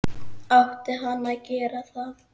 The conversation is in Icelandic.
Átti hann að gera það??